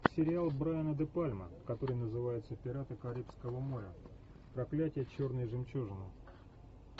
сериал брайана де пальма который называется пираты карибского моря проклятие черной жемчужины